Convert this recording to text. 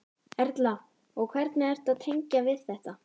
Erla: Og hvernig ertu að tengja við þetta?